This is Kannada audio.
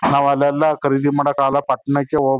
ನಾವ್ ಅಲ್ ಎಲ್ಲ ಖರೀದಿ ಮಾಡಕ್ ಅಗಲ ಪಾಟ್ನಾಕ್ಕೆ ಹೋಗ್.